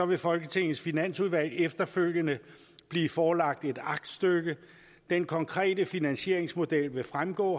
vil folketingets finansudvalg efterfølgende blive forelagt et aktstykke den konkrete finansieringsmodel vil fremgå